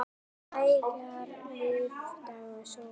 Lækkar lífdaga sól.